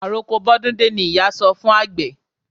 Àroko bọ́dún dé ni ìyá sọ fún àgbẹ̀.